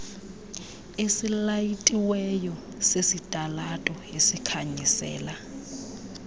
esilayitiweyo sesitalato esikhanyisela